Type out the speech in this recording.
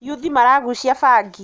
Yuthi maragucia bangi.